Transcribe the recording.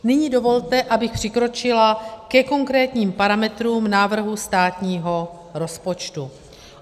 Nyní dovolte, abych přikročila ke konkrétním parametrům návrhu státního rozpočtu.